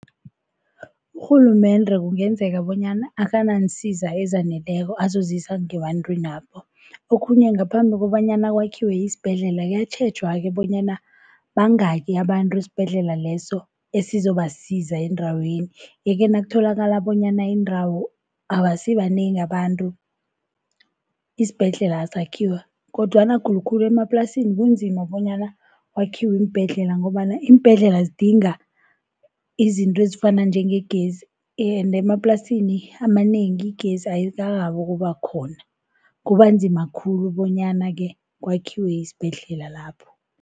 Urhulumende kungenzeka bonyana akanansiza ezaneleko azozisa ngebantwini lapho. Okhunye ngaphambi kobanyana kwakhiwe isibhedlela kuyatjhejwa-ke bonyana bangaki abantu esibhedlela leso esizobasiza endaweni. Yeke nakutholakala bonyana indawo abasibanengi abantu isibhedlela asakhiwa. Kodwana khulukhulu emaplasini kunzima bonyana kwakhiwe iimbhedlela ngombana iimbhedlela zidinga izinto ezifana njengegezi ende emaplasini amanengi igezi ayikarhabi ukuba khona kubanzima khulu bonyana-ke kwakhiwe isibhedlela lapho.